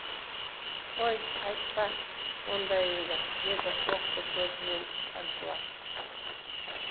қой айтпа ондайыңды деді оқты көзімен шаншыла